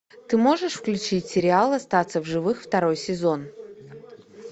ты можешь включить сериал остаться в живых второй сезон